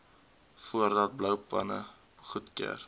voordat bouplanne goedgekeur